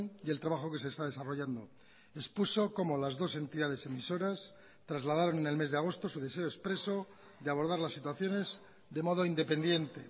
y el trabajo que se está desarrollando expuso cómo las dos entidades emisoras trasladaron en el mes de agosto su deseo expreso de abordar las situaciones de modo independiente